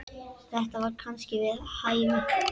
Þetta var kannski við hæfi.